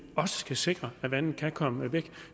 også skal sikre at vandet kan komme væk